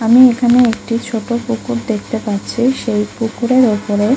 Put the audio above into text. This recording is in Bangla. আমি এখানে একটি ছোট পুকুর দেখতে পাচ্ছি সেই পুকুরের উপরে--